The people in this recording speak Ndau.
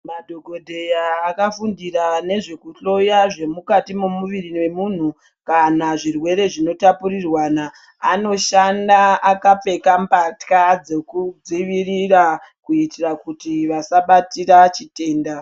Madhokodheya akafundira nezvekuhloya zvemukati momuviri memunhu kana zvirwere zvinotapurirwana, anoshanda akapfeka mbatya dzekudzivirira kuitira kuti vasabatira chitenda.